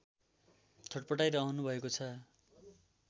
छट्पटाइरहनु भएको छ